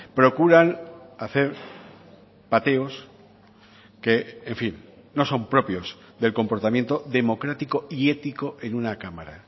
procuran hacer pateos que en fin no son propios del comportamiento democrático y ético en una cámara